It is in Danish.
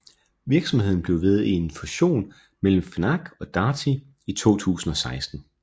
Virksomheden blev til ved en fusion mellem Fnac og Darty i 2016